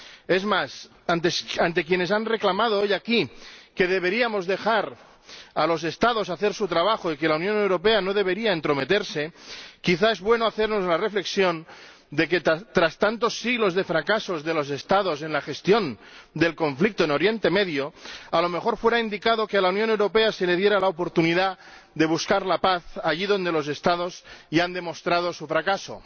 Es más, ante quienes han reclamado hoy aquí que deberíamos dejar a los Estados hacer su trabajo y que la Unión Europea no debería entrometerse, quizá es bueno hacernos la reflexión de que, tras tantos siglos de fracasos de los Estados en la gestión del conflicto en Oriente Medio, a lo mejor estaría indicado que a la Unión Europea se le diera la oportunidad de buscar la paz allí donde los Estados ya han demostrado su fracaso.